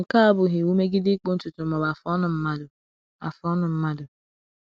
Nke a abụghị iwu megide ịkpụ ntutu ma ọ bụ afụ ọnụ mmadụ. afụ ọnụ mmadụ.